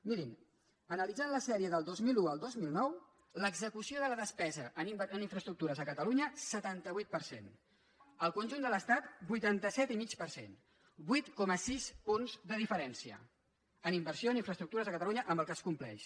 mirin analitzant la sèrie del dos mil un al dos mil nou l’execució de la despesa en infraestructures a catalunya setanta vuit per cent al conjunt de l’estat vuitanta set i mig per cent vuit coma sis punts de diferència en inversió en infraestructures a catalunya amb el que es compleix